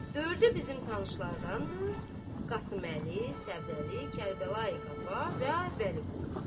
Dördü bizim tanışlardandır: Qasımlı, Səbzəli, Kərbəlayı Qaba və Vəliqulu.